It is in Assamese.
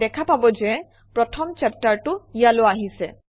দেখা পাব যে প্ৰথম চেপ্টাৰটো ইয়ালৈ আহিছে